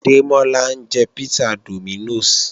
Démọ́lá ń jẹ písà Dominos